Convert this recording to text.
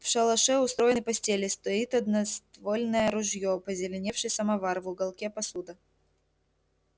в шалаше устроены постели стоит одноствольное ружьё позеленевший самовар в уголке посуда